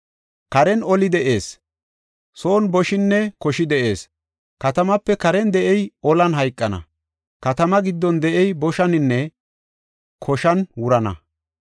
“Karen oli de7ees; son boshinne koshi de7ees. Katamaape karen de7ey olan hayqana; katamaa giddon de7ey boshaninne koshaninne wurana.